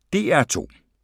DR2